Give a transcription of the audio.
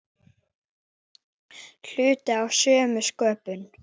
Hluti af sömu spurn.